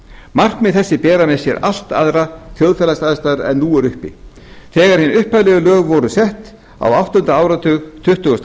markmið þessi bera með sér aðrar þjóðfélagsaðstæður en nú eru uppi þegar hin upphaflegu lög voru sett á áttunda áratug tuttugustu